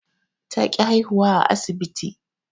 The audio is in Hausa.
Ta ƙi haihuwa a asibti